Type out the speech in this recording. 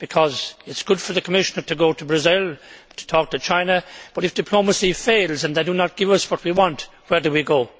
It is good for the Commissioner to go to Brazil and to talk to China, but if diplomacy fails and they do not give us what we want, where do we go?